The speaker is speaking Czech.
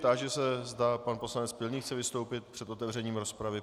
Táži se, zda pan poslanec Pilný chce vystoupit před otevřením rozpravy.